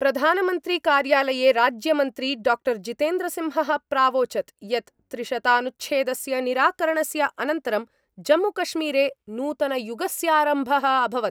प्रधानमंत्री कार्यालये राज्यमंत्री डॉ जितेन्द्रसिंहः प्रावोचत् यत् त्रिशतानुच्छेदस्य निराकरणस्य अनन्तरं जम्मूकश्मीरे नूतनयुगस्यारम्भः अभवत्।